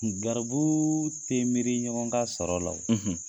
Garibu te miri ɲɔgɔn ka sɔrɔ la,